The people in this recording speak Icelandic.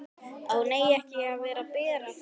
Að hún eigi ekki að bera fötuna.